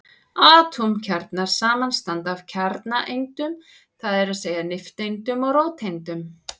Atómkjarnar samanstanda af kjarnaeindum, það er að segja nifteindum og róteindum.